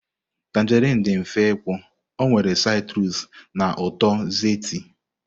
tanjerịn dị mfe ịkpụ, ọ nwere citrus na uto zesty.